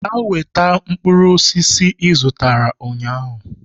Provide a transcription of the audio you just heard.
Gaa weta mkpụrụ osisi ị zụtara ụnyahụ!